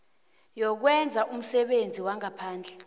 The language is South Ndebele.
yokwenza umsebenzi wangaphandle